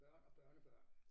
Børn og børnebørn